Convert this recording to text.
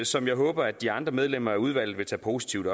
som jeg håber de andre medlemmer af udvalget vil tage positivt